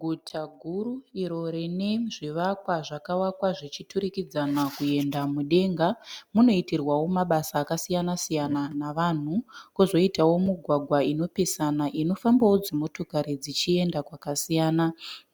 Guta guru iro rine zvivakwa zvakavakwa zvichiturikidzana kuenda mudenga. Munoitirwawo mabasa akasiyanasiyana navanhu, kwozoitawo mugwagwa inopesana inofambawo dzimotokari dzichienda kwakasiyana